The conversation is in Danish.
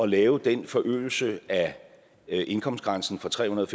lave den forøgelse af indkomstgrænsen fra trehundrede